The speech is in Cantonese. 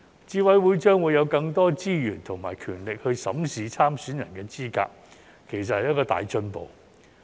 資審會將會有更多資源及權力審視參選人的資格，其實是一個大進步。